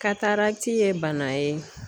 Katarati ye bana ye